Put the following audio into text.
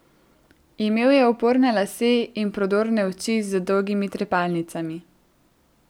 Imel je uporne lase in prodorne oči z dolgimi trepalnicami.